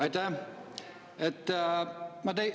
Aitäh!